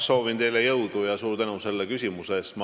Soovin teile jõudu ja suur tänu selle küsimuse eest!